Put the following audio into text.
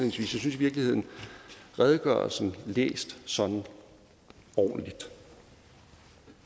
virkeligheden at redegørelsen læst ordentligt